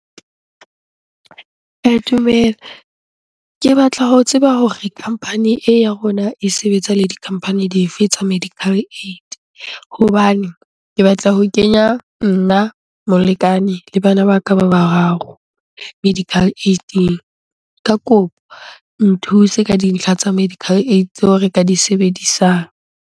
Dumela. Ke batla ho tseba hore company e ya rona e sebetsa le di-company di fe tsa medical aid? Hobane ke batla ho kenya nna, molekane le bana ba ka ba bararo medical aid-ing. Ka kopo, nthuse ka dintlha tsa medical aid tseo re ka di sebedisang.